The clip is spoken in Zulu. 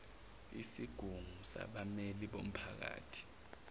isigungu sabammeli bomphakathi